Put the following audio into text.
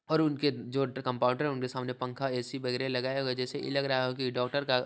और उनके जो कंपाउंडर हैं उनके सामने पंखा ए_सी वगैरे लगाया हुआ जैसे इ लग रहा है की डॉक्टर का --